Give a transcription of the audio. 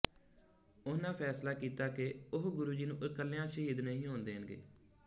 ਉਨ੍ਹਾਂ ਫੈਸਲਾ ਕੀਤਾ ਕਿ ਉਹ ਗੁਰੂ ਜੀ ਨੂੰ ਇਕੱਲਿਆਂ ਸ਼ਹੀਦ ਨਹੀਂ ਹੋਣ ਦੇਣਗੇ